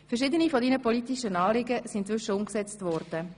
Verschiedene deiner politischen Anliegen sind inzwischen umgesetzt worden.